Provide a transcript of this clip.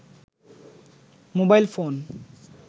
mobile phone